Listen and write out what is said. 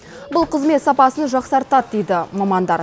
бұл қызмет сапасын жақсартады дейді мамандар